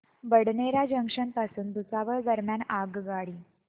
Badnera junction पासून भुसावळ दरम्यान आगगाडी